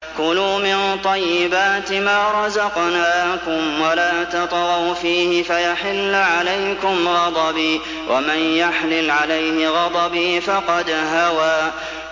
كُلُوا مِن طَيِّبَاتِ مَا رَزَقْنَاكُمْ وَلَا تَطْغَوْا فِيهِ فَيَحِلَّ عَلَيْكُمْ غَضَبِي ۖ وَمَن يَحْلِلْ عَلَيْهِ غَضَبِي فَقَدْ هَوَىٰ